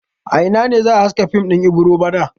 A ina ne za a haska fim din Ibiro bana?